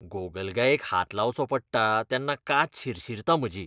गोगलगायेक हात लावचो पडटा तेन्ना कात शिरशीरता म्हजी!